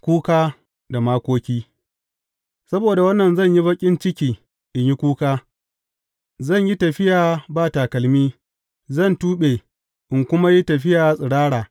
Kuka da Makoki Saboda wannan zan yi baƙin ciki, in yi kuka; zan yi tafiya ba takalmi, zan tuɓe, in kuma yi tafiya tsirara.